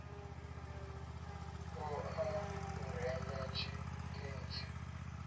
ṱo ḓa u renga tshitentsi